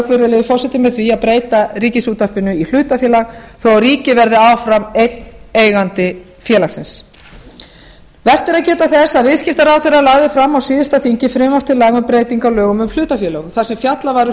virðulegi forseti með því að breyta ríkisútvarpinu í hlutafélag svo ríkið verði áfram einn eigandi félagsins vert er að geta þess að viðskiptaráðherra lagði fram á síðasta þingi frumvarp til laga um breytingar á lögum um hlutafélög þar sem fjallað var um